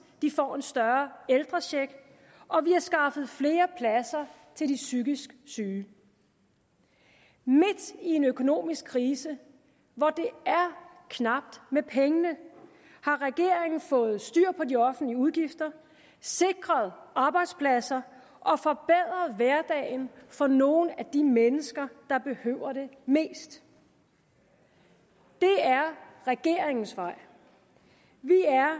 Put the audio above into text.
de får en større ældrecheck og vi har skaffet flere pladser til de psykisk syge midt i en økonomisk krise hvor det er knapt med pengene har regeringen fået styr på de offentlige udgifter sikret arbejdspladser og forbedret hverdagen for nogle af de mennesker der behøver det mest det er regeringens vej vi er